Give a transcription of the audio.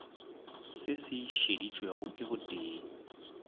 se se šeditšwego ke botee